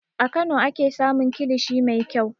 A Kano ake samun kilishi mai kyau.